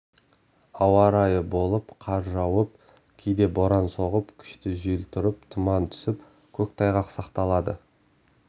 ауа райы болып қар жауып кейде боран соғып күшті жел тұрып тұман түсіп көктайғақ сақталады